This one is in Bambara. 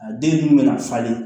A den dun bɛna falen